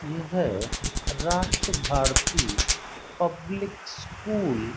यह Rashtra Bharati public school --